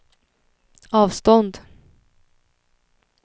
avstånd